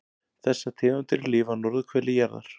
Þessar tegundir lifa á norðurhveli jarðar.